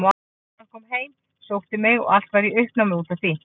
Löggan kom heim og sótti mig og allt var í uppnámi út af því.